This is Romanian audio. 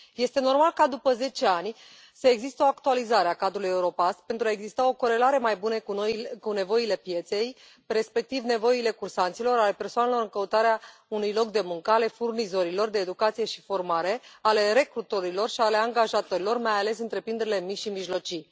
Este normal ca după zece ani să existe o actualizare a cadrului Europass, pentru a exista o corelare mai bună cu nevoile pieței, respectiv nevoile cursanților, ale persoanelor în căutarea unui loc de muncă, ale furnizorilor de educație și formare, ale recrutorilor și ale angajatorilor, mai ales întreprinderile mici și mijlocii.